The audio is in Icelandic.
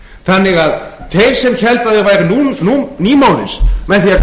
þannig að þeir sem héldu að þeir væru nýmóðins með